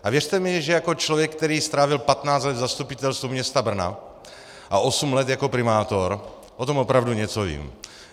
A věřte mi, že jako člověk, který strávil 15 let v Zastupitelstvu města Brna a osm let jako primátor, o tom opravdu něco vím.